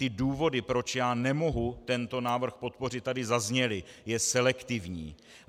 Ty důvody, proč já nemohu tento návrh podpořit, tady zazněly - je selektivní.